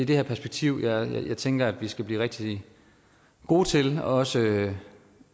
det her perspektiv jeg tænker at vi skal blive rigtig gode til også